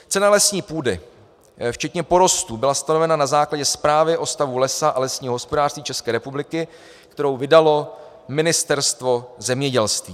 Cena lesní půdy včetně porostů byla stanovena na základě Zprávy o stavu lesa a lesního hospodářství České republiky, kterou vydalo Ministerstvo zemědělství.